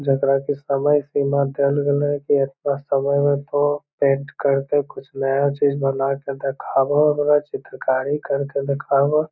जेकरा के समय सिमा देल गेल है की एता समय में तो पेंट कर के कुछ नया चीज़ बना के देखावो हमरा चित्रकारी कर के देखावो |